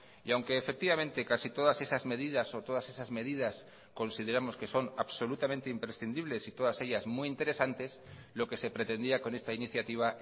y aunque efectivamente casi todas esas medidas o todas esas medidas consideramos que son absolutamente imprescindibles y todas ellas muy interesantes lo que se pretendía con esta iniciativa